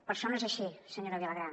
per sort no és així senyora vilagrà